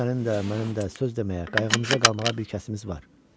Sənin də, mənim də söz deməyə, qayğımıza qalmağa bir kəsimiz var.